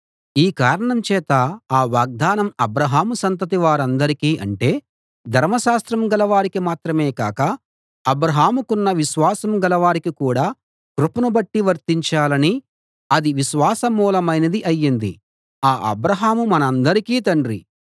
ఈ కారణం చేత ఆ వాగ్దానం అబ్రాహాము సంతతి వారందరికీ అంటే ధర్మశాస్త్రం గలవారికి మాత్రమే కాక అబ్రాహాముకున్న విశ్వాసం గలవారికి కూడా కృపను బట్టి వర్తించాలని అది విశ్వాసమూలమైనది అయ్యింది ఆ అబ్రాహాము మనందరికీ తండ్రి